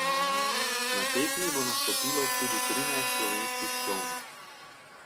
Na tekmi bo nastopilo tudi trinajst slovenskih čolnov.